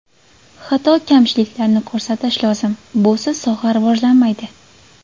Xato-kamchiliklarni ko‘rsatish lozim – busiz soha rivojlanmaydi.